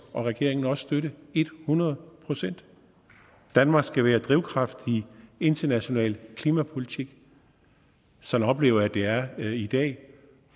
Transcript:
regeringen også støtte et hundrede procent danmark skal være drivkraft i international klimapolitik sådan oplever jeg at det er i dag